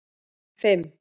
fimm